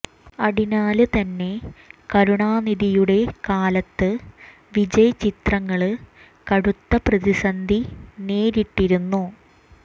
അടിനാല് തന്നെ കരുണാനിധിയുടെ കാലത്ത് വിജയ് ചിത്രങ്ങള് കടുത്ത പ്രതിസന്ധി നേരിട്ടിരുന്നു